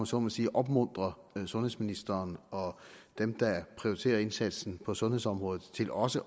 så må sige opmuntrede sundhedsministeren og dem der prioriterer indsatsen på sundhedsområdet til også